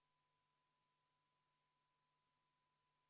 Ma natukene ennatlikult jõudsin juba järgmise juurde.